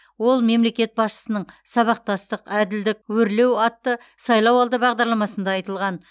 ол мемлекет басшысының сабақтастық әділдік өрлеу атты сайлауалды бағдарламасында айтылған